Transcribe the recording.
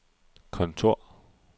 kontor